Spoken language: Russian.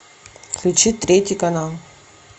включи третий канал